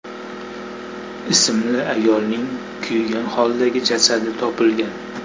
ismli ayolning kuygan holdagi jasadi topilgan.